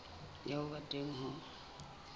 ya ho ba teng ho